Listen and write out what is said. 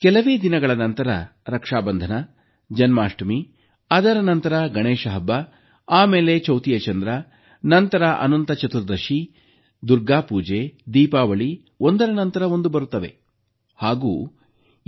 ಕೆಲವೇ ದಿನಗಳ ನಂತರ ರಕ್ಷಾಬಂಧನ ಜನ್ಮಾಷ್ಟಮಿ ಅದರ ನಂತರ ಗಣೇಶ ಹಬ್ಬ ಆಮೇಲೆ ಚೌತಿಯ ಚಂದ್ರ ನಂತರ ಅನಂತ ಚತುರ್ದಶಿ ದುರ್ಗಾ ಪೂಜೆ ದೀಪಾವಳಿ ಒಂದರ ನಂತರ ಒಂದು ಒಂದರ ನಂತರ ಒಂದು ಬರುತ್ತವೆ